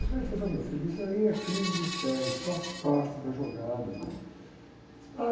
falou, ó, meu filho, isso aí é crise de fé, isso faz parte da jogada. Faz parte...